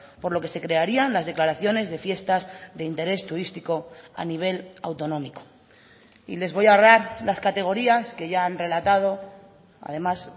por lo que se crearían las declaraciones de fiestas de interés turístico a nivel autonómico y les voy a ahorrar las categorías que ya han relatado además